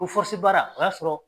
O baara o y'a sɔrɔ